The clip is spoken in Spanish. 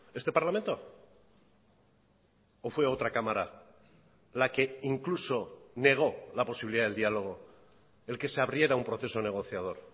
este parlamento o fue otra cámara la que incluso negó la posibilidad del diálogo el que se abriera un proceso negociador